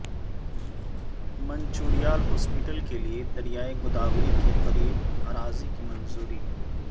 Mancherial hospital کیلئے دریائے گوداوری کے قریب اراضی کی منظوری